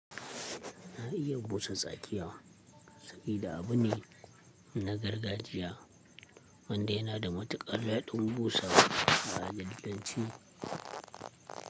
Na iya busa tsakiya sabida abu ne na gargajiya wanda yana da matukar daɗin busawa a al'adance.